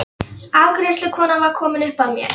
Afgreiðslukonan var komin upp að mér.